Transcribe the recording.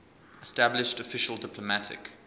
established official diplomatic